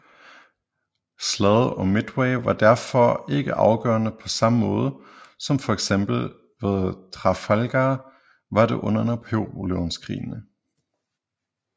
Slaget om Midway var derfor ikke afgørende på samme måde som for eksempel slaget ved Trafalgar var det under Napoleonskrigene